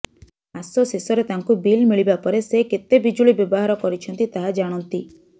ମାସ ଶେଷରେ ତାଙ୍କୁ ବିଲ୍ ମିଳିବା ପରେ ସେ କେତେ ବିଜୁଳି ବ୍ୟବହାର କରିଛନ୍ତି ତାହା ଜାଣନ୍ତି